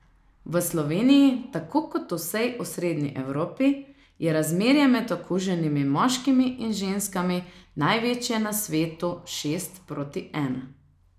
V Sloveniji, tako kot v vsej osrednji Evropi, je razmerje med okuženimi moškimi in ženskami največje na svetu, šest proti ena.